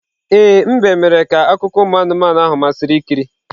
Ee, mbe mere ka akụkọ anụmanụ ahụ masịrị ikiri.